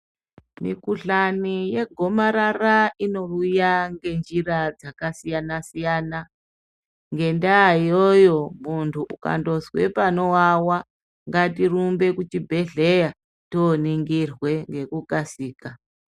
Mikuhlani yegomarara inouya ngenjira dzakasiyana- siyana ngenda iyoyo muntu ukangonzwa panowawa ngatirumbe kuchibhedhlera toningirwe ngekukasira.